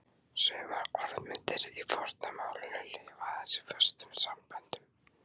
Sumar orðmyndir í forna málinu lifa aðeins í föstum samböndum.